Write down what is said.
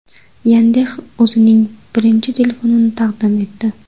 Yandex o‘zining birinchi telefonini taqdim etdi.